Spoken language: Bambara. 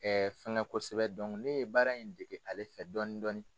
fɛngɛ kosɛbɛ ne ye baara in dege ale fɛ dɔɔnin dɔɔnin.